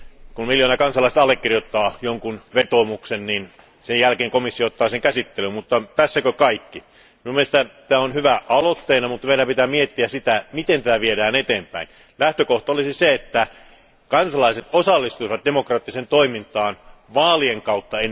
Kun miljoona kansalaista allekirjoittaa jonkin vetoomuksen, niin sen jälkeen komissio ottaa sen käsittelyyn, mutta tässäkö kaikki? Minun mielestäni tämä on hyvä aloite, mutta meidän pitää miettiä, että miten sitä viedään eteenpäin. Lähtökohtana olisi se, että kansalaiset osallistuisivat demokraattiseen toimintaan ennen kaikkea vaalien kautta.